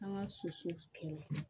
An ka soso kɛla